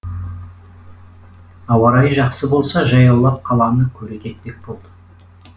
ауа райы жақсы болса жаяулап қаланы көре кетпек болды